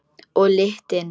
Og lyktin.